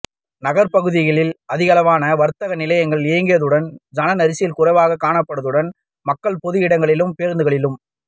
நகர்ப்பகுதியில் அதிகளவான வர்த்தக நிலையங்கள் இயங்கியதுடன் சனநெரிசல் குறைவாக காணப்படதுடன் மக்கள் பொது இடங்களிலும் பேருந்துகளிலும்